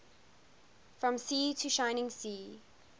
from sea to shining sea